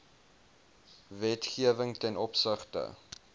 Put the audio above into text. wetgewing ten opsigte